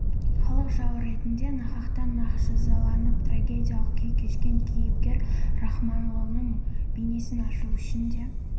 халық жауы ретінде нақақтан-нақ жазаланып трагедиялық күй кешкен кейіпкер рахмалының бейнесін ашу үшін де